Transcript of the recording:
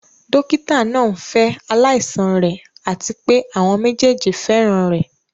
Dókítà náà ń fẹ́ aláìsàn rẹ̀ àti pé àwọn méjèèjì fẹ́ràn rẹ̀.